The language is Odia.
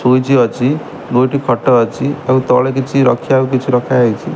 ସ୍ୱିଚି ଅଛି ଦୁଇଟି ଖଟ ଅଛି ଆଉ ତଳେ କିଛି ରଖିଆକୁ କିଛି ରଖା ହେଇଚି।